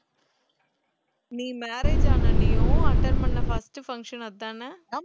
நீ marriage ஆன உடனேயும் attend பண்ண first function அதான